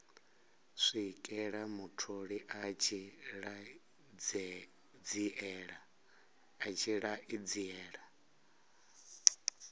swikela mutholi a tshi ṱanziela